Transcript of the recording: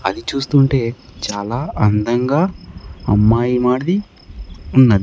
అది చూస్తుంటే చాలా అందంగా అమ్మాయి మాదిరి ఉన్నది.